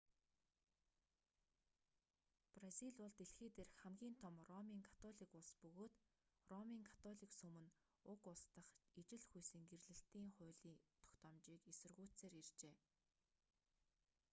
бразил бол дэлхий дээрх хамгийн том ромын католик улс бөгөөд ромын католик сүм нь уг улс дахь ижил хүйсийн гэрлэлтийн хууль тогтоомжийг эсэргүүцсээр иржээ